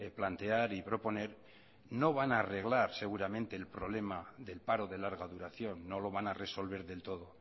plantear y proponer no van a arreglar seguramente el problema del paro de larga duración no lo van a resolver del todo